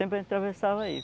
Sempre a gente atravessava aí.